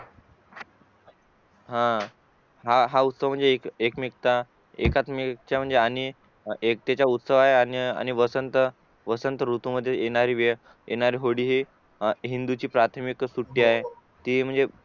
हा हा उत्सव म्हणजे एकमेकता एकाच आणि एकट्याचा उत्सवात आणि वसंत ऋतू मध्ये येणारी होळी हि हिंदूंची प्राथमिक सुटी आहे ती म्हणजे